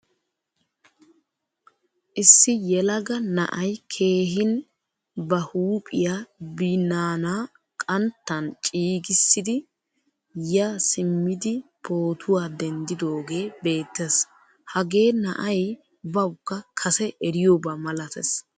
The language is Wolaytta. Issi yelaga na'ay keehin ba huuphphiyaa binaana qanttan cigisidi ya simidi pootuwaa denddidogee beettees. Hagee na'ay bawukka kase eriyoba malatees.